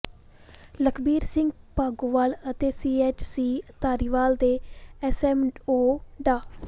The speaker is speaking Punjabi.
ਲਖਬੀਰ ਸਿੰਘ ਭਾਗੋਵਾਲ ਅਤੇ ਸੀਐੱਚਸੀ ਧਾਰੀਵਾਲ ਦੇ ਐੱਸਐੱਮਓ ਡਾ